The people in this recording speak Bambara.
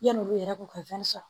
Yanni olu yɛrɛ k'u ka sɔrɔ